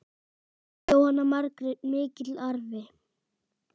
Jóhanna Margrét: Mikill arfi?